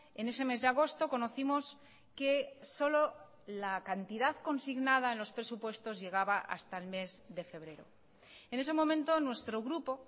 en ese mes de agosto conocimos que solo la cantidad consignada en los presupuestos llegaba hasta el mes de febrero en ese momento nuestro grupo